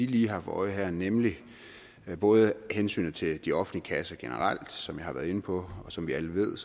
lige har for øje nemlig hensynet til de offentlige kasser generelt og som jeg har været inde på og som vi alle ved